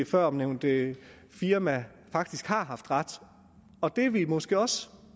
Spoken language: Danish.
førnævnte firma faktisk har haft ret og det er vi måske også